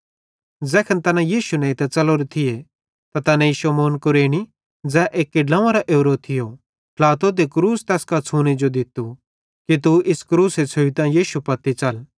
ज़ैखन तैना यीशु नेइतां च़लोरे थियो त तैनेईं शमौन कुरेनी ज़ै एक्की ड्लोंवेरां ओरो थियो ट्लातो ते क्रूस तैस कां छ़ूने जो दित्तू कि तू ई क्रूसे छ़ुइतां यीशु पत्ती च़ला